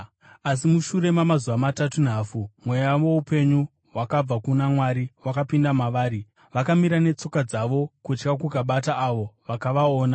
Asi mushure mamazuva matatu nehafu, mweya woupenyu wakabva kuna Mwari wakapinda mavari, vakamira netsoka dzavo, kutya kukabata avo vakavaona.